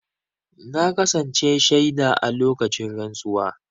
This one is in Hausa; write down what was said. Na kasance shaida a lokacin rantsuwa.